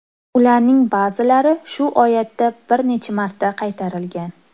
Ularning ba’zilari shu oyatda bir necha marta qaytarilgan.